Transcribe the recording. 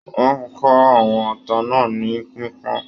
Wọn ká àwọn ata náà ni pipọn.